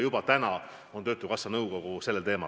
Juba täna on töötukassa nõukogu koosolek sellel teemal.